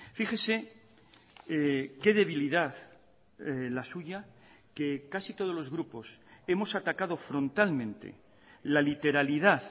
fíjese qué debilidad la suya que casi todos los grupos hemos atacado frontalmente la literalidad